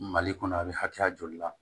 Mali kɔnɔ a bɛ hakɛya joli la